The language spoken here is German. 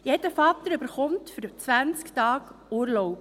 Jeder Vater erhält 20 Tage Urlaub.